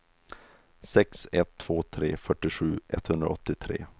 sex ett två tre fyrtiosju etthundraåttiotre